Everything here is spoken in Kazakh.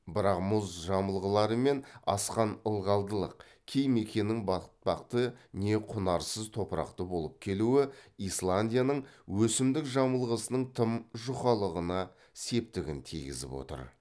бірақ мұз жамылғылары мен асқан ылғалдылық кей мекеннің батпақты не құнарсыз топырақты болып келуі исландияның өсімдік жамылғысының тым жұқалығына септігін тиігізіп отыр